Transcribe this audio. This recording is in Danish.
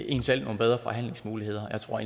en selv nogle bedre forhandlingsmuligheder jeg tror